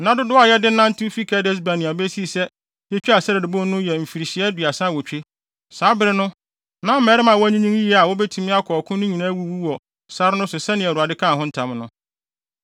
Na nna dodow a yɛde nantew fi Kades-Barnea besii sɛ yetwaa Sered bon no yɛ mfirihyia aduasa awotwe. Saa bere no, na mmarima a wɔanyinyin yiye a wobetumi akɔ ɔko no nyinaa awuwu wɔ sare no so sɛnea Awurade kaa ho ntam no.